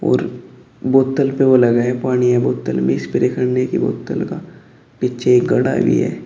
और बोतल पे ओ लगा है पानी है बोतल में स्प्रे करने की बोतल का पीछे एक घड़ा भी है।